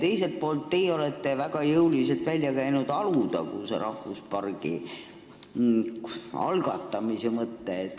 Teiselt poolt, teie olete väga jõuliselt välja käinud Alutaguse rahvuspargi algatamise mõtte.